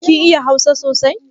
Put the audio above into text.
Kin iya hausa sosai?